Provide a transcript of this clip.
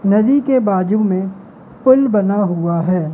नदी के बाजू में पुल बना हुआ है।